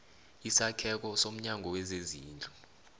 isakheko somnyango wezezindlu